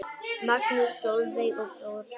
Magnús, Sólveig og börn.